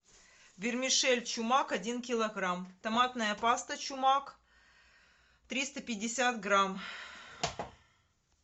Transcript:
вермишель чумак один килограмм томатная паста чумак триста пятьдесят грамм